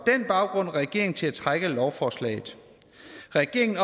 den baggrund regeringen til at trække lovforslaget regeringen